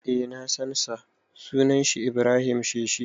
Eh na san sa, sunan shi Ibrahim Sheshi.